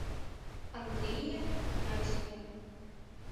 андрее князеве